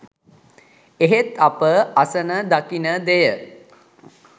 එහෙත් අප අසන දකින දෙය